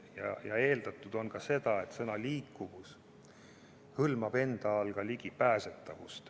Eeldatud on ka seda, et sõna "liikuvus" hõlmab ka ligipääsetavust.